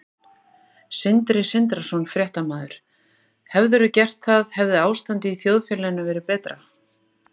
Sindri Sindrason, fréttamaður: Hefðirðu gert það hefði ástandið í þjóðfélaginu verið betra?